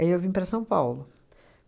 Aí eu vim para São Paulo.